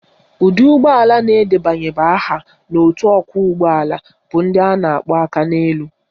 Ụdị ụgbọala na-edebanyeghi aha ha n'otu ọkwọụgbọala bụ ndị a na-akpọ Akaneelu